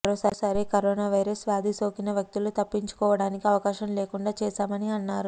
మరోసారి corona virus వ్యాధి సోకిన వ్యక్తులు తప్పించుకోవడానికి అవకాశం లేకుండా చేశామని అన్నారు